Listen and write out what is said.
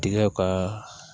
Dingɛ ka